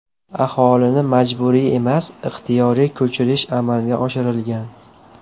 Aholini majburiy emas, ixtiyoriy ko‘chirish amalga oshirilgan.